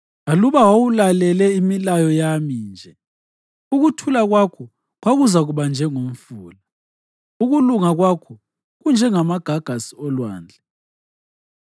Aluba wawulalele imilayo yami nje, ukuthula kwakho kwakuzakuba njengomfula, ukulunga kwakho kunjengamagagasi olwandle.